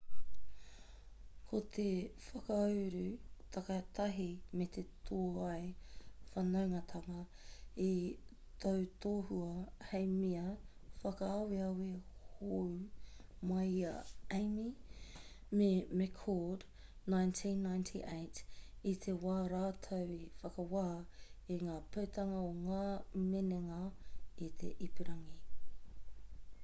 ko te whakauru takitahi me te tōai whanaungatanga i tautohua hei mea whakaaweawe hou mai i a eighmey me mccord 1998 i te wā rātou i whakawā i ngā putanga o ngā minenga i te ipurangi